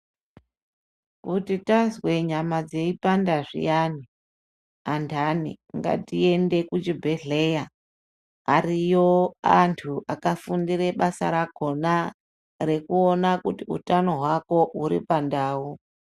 Kuti tazwe nyama dzeipanda zviyani, andani ngatiende kuchibhedhleya. Ariyo antu akafundire basa rakona rekuona kuti utano hwako uripandau.